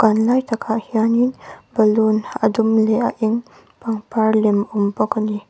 a lai takah hianin balloon a dum leh a eng pangpar lem awm bawk a ni.